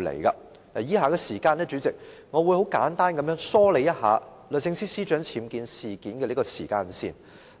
主席，我會在以下時間簡單梳理一下律政司司長僭建事件的時間線，